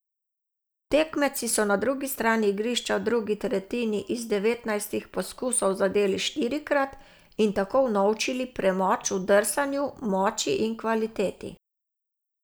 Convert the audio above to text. Tekmeci so na drugi strani igrišča v drugi tretjini iz devetnajstih poskusov zadeli štirikrat in tako unovčili premoč v drsanju, moči in kvaliteti.